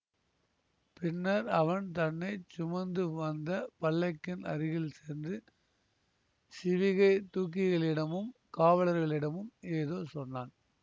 பின்னர் அவன் தன்னை சுமந்து வந்த பல்லக்கின் அருகில் சென்று சிவிகை தூக்கிகளிடமும் காவலர்களிடமும் ஏதோ சொன்னான்